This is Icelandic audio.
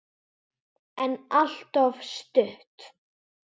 En alltof stutt.